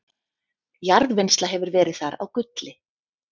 jarðvinnsla hefur verið þar á gulli